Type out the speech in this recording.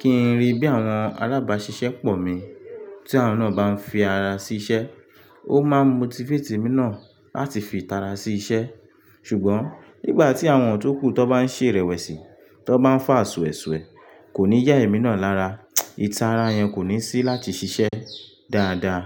kí n rí bí àwọn alábàáṣiṣẹ́ pọ̀ mi, tí àwọn náà bá ń fi ara sí iṣẹ́, ó máa motivate mí náà láti fi ìtara sí iṣẹ́. Ṣùgbọ́n nígbà tí àwọn tókù tó bá ń ṣe ìrẹ̀wẹ̀sì, tó bá ń fá ṣue ṣúe ṣúe, kò ní yá èmi náà lára, ìtara yẹn kò ní sí láti ṣiṣẹ́ dáadáa.